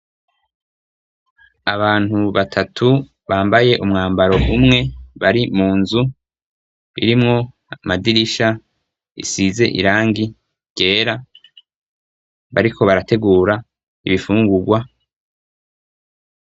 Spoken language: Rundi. Abantu batatu bambaye umwambaro umwe bari mu nzu irimwo amadirisha isize irangi ryera bariko barategura ibifungurwa.